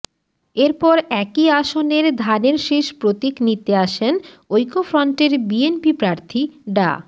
এরপর একই আসনের ধানের শীষ প্রতীক নিতে আসেন ঐক্যফ্রন্টের বিএনপি প্রার্থী ডা